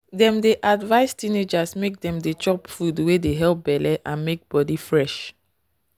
dem dey advise teenagers make dem dey chop food wey dey help belle and make body fresh.